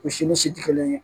U si ni si tɛ kelen ye